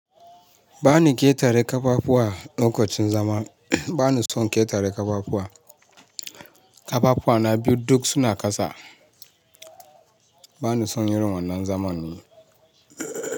Ba ni ƙetare ƙafafuwa lokacin zama. Ba ni son ƙetare ƙafafuwa. Ƙafafuwa na biyu duk suna kasa. Ba ni son irin wannan zaman ne.